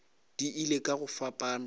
di ile ka go fapana